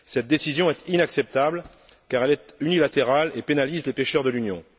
Cette décision est inacceptable car elle est unilatérale et pénalise les pêcheurs de l'Union.